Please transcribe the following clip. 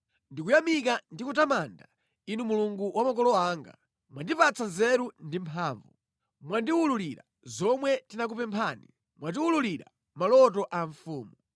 Ndikuyamika ndi kutamanda Inu Mulungu wa makolo anga: mwandipatsa nzeru ndi mphamvu, mwandiwululira zomwe tinakupemphani, mwatiwululira maloto a mfumu.”